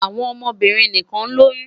Awọn ọmọbirin nikan loyun